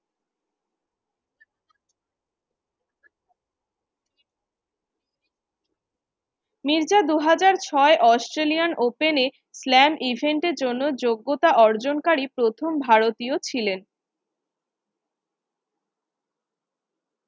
মির্জা দু হাজার ছয় Australian open এ slam event এর জন্য যোগ্যতা অর্জনকারী প্রথম ভারতীয় ছিলেন।